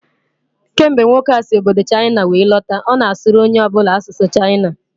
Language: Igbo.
Kemgbe nwoke a si obodo Chaịna were lọta, ọ na asụrụ onye ọ bụla asụsụ Chaịna